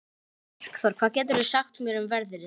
Markþór, hvað geturðu sagt mér um veðrið?